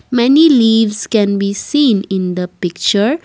many leaves can be seen in the picture.